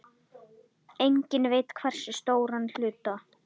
Enginn veit hversu stóran hluta.